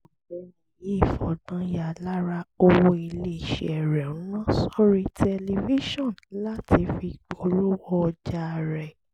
ọ̀gbẹ́ni yìí fọgbọ́n ya lára owó ilé iṣẹ́ rẹ̀ ń ná sórí tẹlifíṣọ̀n láti fi polówó ọjà rẹ̀